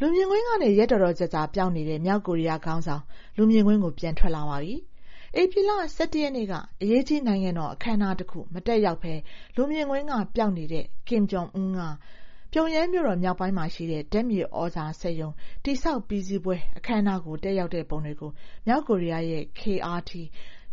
လူမြင်ကွင်းကနေ ရက်တော်တော်ကြာ ပျောက်နေတဲ့ မြောက်ကိုရီးယားခေါင်ဆောင် လူမြင်ကွင်းကို ပြန်ထွက်လာပါပြီ။ ဧပြီလ ၁၁ ရက်နေ့က နိုင်ငံတော်အခမ်းအနားတခု မတက်ရောက်ဘဲ လူမြင်ကွင်းက ပျောက်နေတဲ့ Kim Jong Un က ပြုံယမ်းမြို့တော် မြောက်ပိုင်းမှာရှိတဲ့ ဓာတ်မြေသြဇာစက်ရုံ တည်ဆောက်ပြီးစီးပွဲ အခမ်းအနား တက်ရောက်တဲ့ပုံတွေကို မြောက်ကိုရီးယားရဲ့ KRT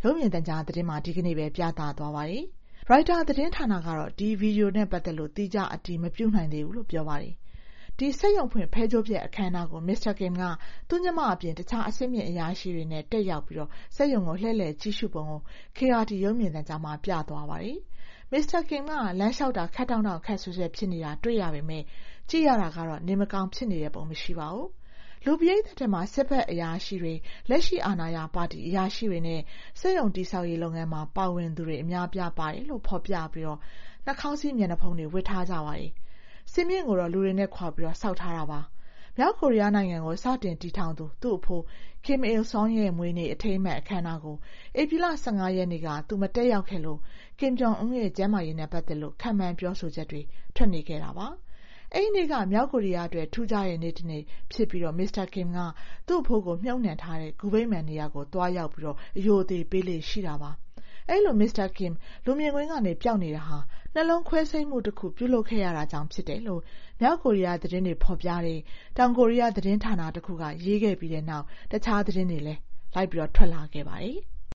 ရုပ်မြင်သံကြားသတင်းမှာ ဒီကနေ့ပဲ ပြသသွားပါတယ်။ ရိုက်တာသတင်းဌာနကတော့ ဒီဗွီဒီယိုနဲ့ပတ်သက်ပြီး သီးခြား အတည်မပြုနိုင်သေးဘူးလို့ ပြောပါတယ်။ ဒီစက်ရုံဖွင့် ဖဲကြိုးဖြတ်အခမ်းအနားကို Mr. Kim က သူ့ညီမအပြင် တခြား အဆင့်မြင့်အရာရှိတွေနဲ့ တက်ရောက်ပြီး စက်ရုံကို လှည့်လည်ကြည့်ရှုပုံကို KRT ရုပ်မြင်သံကြားမှာ ပြသွားတာပါ။ Mr. Kim က လမ်းလျှောက်တာ ခပ်တောင့်တောင့် ခပ်ဆွဲဆွဲဖြစ်နေတာ တွေ့ရပေမယ့် ကြည့်ရတာတော့ နေမကောင်း ဖြစ်နေတဲ့ပုံ မရှိပါဘူး။ လူပရိသတ်ထဲမှာ စစ်ဘက်အရာရှိတွေ၊ လက်ရှိအာဏာရပါတီ အရာရှိတွေနဲ့ စက်ရုံတည်ဆောက်ရေး လုပ်ငန်းမှာ ပါဝင်သူတွေ အများအပြား ပါတယ်လို့ ဖော်ပြပြီး နှာခေါင်းစည်း မျက်နှာဖုံးတွေ ဝတ်ထားကြပါတယ်။ စင်မြင့်ကိုတော့ လူတွေနဲ့ခွာပြီး ဆောက်ထားတာပါ။ မြောက်ကိုရီးယားနိုင်ငံကို စတင်ထူထောင်သူ သူ့အဖိုး Kim Il Sung ရဲ့ မွေးနေ့ အထိမ်းအမှတ် အခမ်းအနားကို ဧပြီလ ၁၅ ရက်နေ့က သူ မတက်ရောက်ခဲ့လို့ Kim Jong Un ရဲ့ ကျန်းမာရေးနဲ့ ပတ်သက်လို့ ခန့်မှန်းပြောဆိုချက်တွေ ထွက်နေတာပါ။ အဲဒီနေ့က မြောက်ကိုရီးယားအတွက် ထူးခြားတဲ့နေ့တနေ့ဖြစ်ပြီး Mr.Kim က သူ့အဖိုးကို မြှုပ်နှံထားတဲ့ ဂူဗိမာန်နေရာကို သွားရောက် အရိုအသေပေးလေ့ ရှိပါတယ်။ အဲဒီလို Mr. Kim လူမြင်ကွင်းက ပျောက်နေတာဟာ နှလုံးခွဲစိတ်မှုတခု ပြုလုပ်ခဲ့ရတာကြောင့် ဖြစ်တယ်လို့ မြောက်ကိုရီးယားသတင်းတွေ ဖော်ပြတဲ့ တောင်ကိုရီးယား သတင်းဌာနတခုက ရေးခဲ့ပြီးနောက် တခြားသတင်းတွေလည်း လိုက်ထွက်လာခဲ့ပါတယ်။